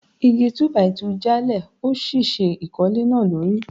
Igi Túbàìtuù já lé òṣìṣẹ́ ìkólé náà lórí.